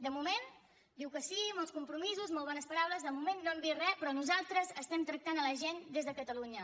de moment diu que sí molts compromisos molt bones paraules de moment no hem vist re però nosaltres estem tractant la gent des de catalunya